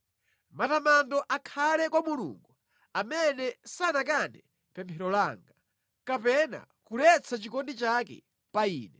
Matamando akhale kwa Mulungu amene sanakane pemphero langa kapena kuletsa chikondi chake pa ine!